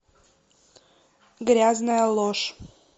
грязная ложь